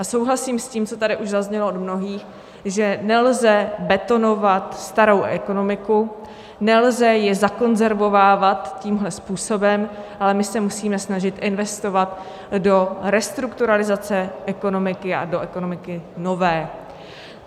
A souhlasím s tím, co tady už zaznělo od mnohých, že nelze betonovat starou ekonomiku, nelze ji zakonzervovávat tímhle způsobem, ale my se musíme snažit investovat do restrukturalizace ekonomiky a do ekonomiky nové.